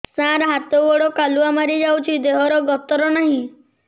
ସାର ହାତ ଗୋଡ଼ କାଲୁଆ ମାରି ଯାଉଛି ଦେହର ଗତର ନାହିଁ